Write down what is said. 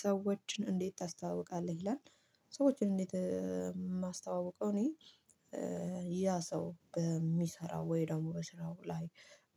ሰዎችን እንዴት ታስተዋውቃለህ? ይላል ሰዎችን እንዴት የማስተዋውቀው እኔ ያ ሰው በሚሰራው ወይ ደግሞ በስራው ላይ